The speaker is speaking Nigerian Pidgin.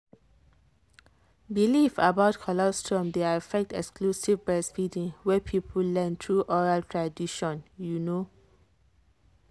belief about colostrum dey affect exclusive breastfeeding wey people learn through oral tradition. you know.